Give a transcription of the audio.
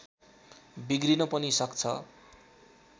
बिग्रिन पनि सक्छ